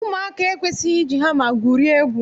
Ụmụaka ekwesịghị iji hama gwurie egwu